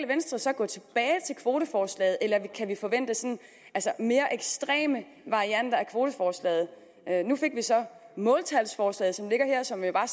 venstre så gå tilbage til kvoteforslaget eller kan vi forvente mere ekstreme varianter af kvoteforslaget nu fik vi så måltalsforslaget som ligger her og som jo er